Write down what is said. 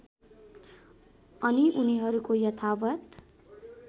अनि उनीहरूको यथावत्